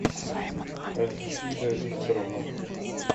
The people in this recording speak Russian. альфида викторовна